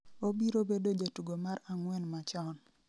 obiro bedo jatugo mar ang'wen machon